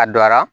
A dɔra